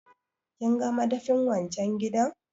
Kinga madafin wan can gidan?